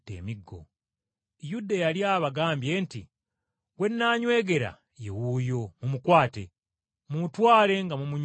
Yuda yali abagambye nti, “Gwe nnanywegera, ye wuuyo mumukwate, mumutwale nga mumunywezezza.”